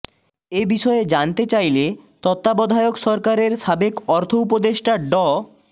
এ বিষয়ে জানতে চাইলে তত্ত্বাবধায়ক সরকারের সাবেক অর্থ উপদেষ্টা ড